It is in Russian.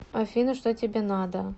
афина что тебе надо